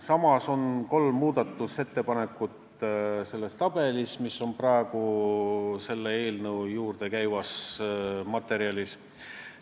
Samas on kolm muudatusettepanekut selles tabelis, mis eelnõu juurde käib, siiski olemas.